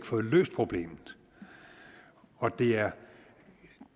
fået løst problemet og det er